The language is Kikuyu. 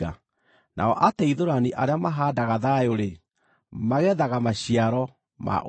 Nao ateithũrani arĩa mahaandaga thayũ-rĩ, magethaga maciaro ma ũthingu.